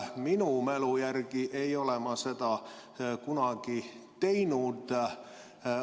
Oma mälu järgi ei ole ma seda kunagi teinud.